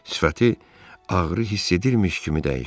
Sifəti ağrı hiss edirmiş kimi dəyişdi.